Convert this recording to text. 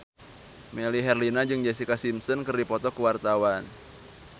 Melly Herlina jeung Jessica Simpson keur dipoto ku wartawan